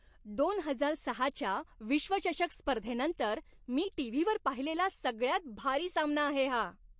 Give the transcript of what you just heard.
दोन हजार सहाच्या विश्वचषक स्पर्धेनंतर मी टीव्हीवर पाहिलेला सगळ्यात भारी सामना आहे हा.